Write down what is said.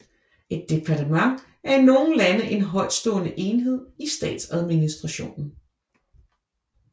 Et departement er i nogle lande en højtstående enhed i statsadministrationen